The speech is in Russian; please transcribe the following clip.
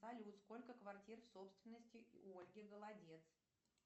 салют сколько квартир в собственности у ольги голодец